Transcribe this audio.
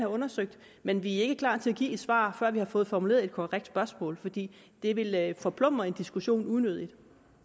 undersøgt men vi er ikke klar til at give et svar før vi har fået formuleret et korrekt spørgsmål fordi det ville forplumre en diskussion unødigt